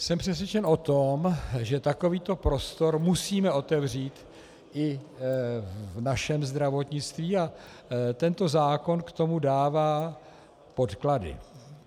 Jsem přesvědčen o tom, že takovýto prostor musíme otevřít i v našem zdravotnictví, a tento zákon k tomu dává podklady.